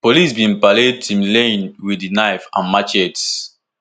police bin parade timileyin wit di knife and machetes